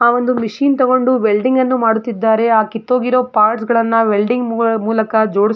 ಆ ಒಂದು ಮಶೀನ್ ತಗೊಂಡು ವೆಲ್ಡಿಂಗ್ಅನ್ನು ಮಾಡುತ್ತಿದ್ದಾರೆ ಆ ಕಿತ್ತೊಗಿರುವ ಪಾರ್ಟ್ಸ್ ಗಳನ್ನೂ ವೆಲ್ಡಿಂಗ್ ಮೂಲಕ ಜೋಡಿ--